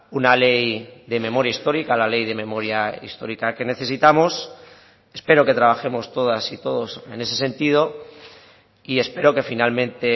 una ley de memoria histórica la ley de memoria histórica que necesitamos espero que trabajemos todas y todos en ese sentido y espero que finalmente